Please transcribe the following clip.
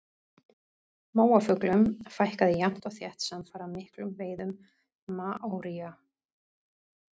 Móafuglum fækkaði jafnt og þétt samfara miklum veiðum maóría.